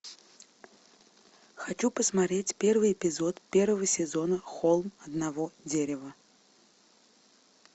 хочу посмотреть первый эпизод первого сезона холм одного дерева